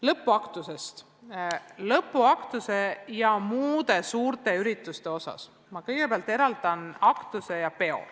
Lõpuaktustest ja muudest suurtest üritustest rääkides eraldan ma kõigepealt aktuse ja peo.